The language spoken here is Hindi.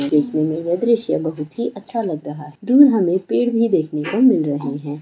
देखने में यह दृश्य बहुत ही अच्छा लग रहा है दूर हमें पेड़ भी देखने को मिल रहे हैं।